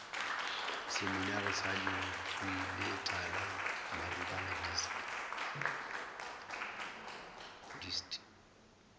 seminari sa lentsweletala maribana dist